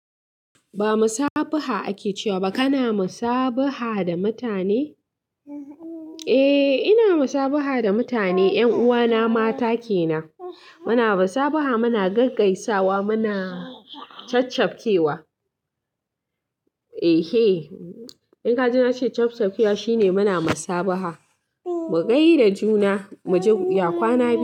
Ba masabaha ake cewa ba ka na masabaha da mutane? Eh ina musabaha da mutane, ƴan uwana mata kenan. Muna masabaha muna gag-gaisawa muna chap chap kewa. Eh he, in kaji na ce chap chap kewa shine muna masabaha. Mu gai da juna, mu ji ya kwana biyu.